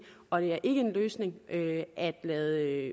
og det er ikke en løsning at lade